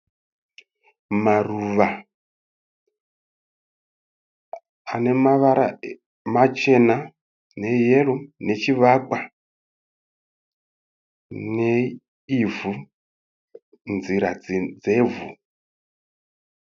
Maruva. Pane mavara machena, neeyero nechivakwa, neivhu, nzira dzevhu.